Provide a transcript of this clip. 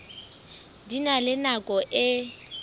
di na le nako e